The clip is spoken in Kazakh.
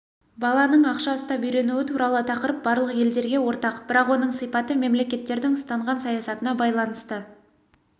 баланың ақша ұстап үйренуі туралы тақырып барлық елдерге ортақ бірақ оның сипаты мемлекеттердің ұстанған саясатына байланысты